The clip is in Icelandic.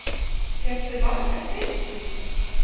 Fékkstu margar fyrirspurnir?